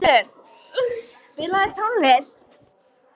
Matthildur, spilaðu tónlist.